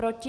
Proti?